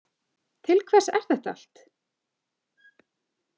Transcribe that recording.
Til hvers er þetta allt?